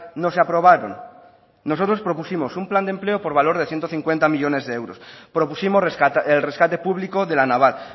no se aprobaron nosotros propusimos un plan de empleo por valor de ciento cincuenta millónes de euros propusimos el rescate público de la naval